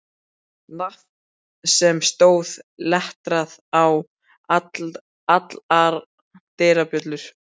Nafn sem stóð letrað á allar dyrabjöllur.